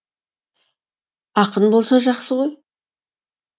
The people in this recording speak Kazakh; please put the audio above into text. ақын болса жақсы ғой